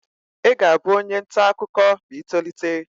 Ị ga-abụ onye ntaakụkọ ma ị tolite